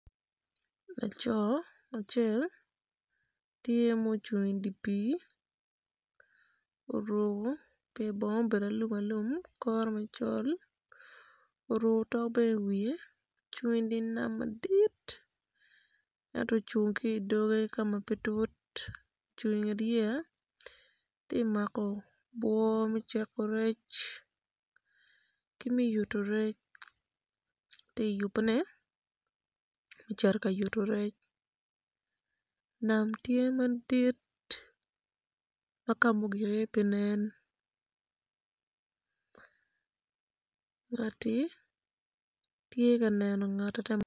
Laco acel tye ma ocung i dye pii oruko pye bongo ma obedo alum alum ki ma col oruko otok bene i wiye ocung i dye nam madit ento ocung ki i doge ka ma pe tut ocung ki i doge tye ka mako obwo me ciko rec.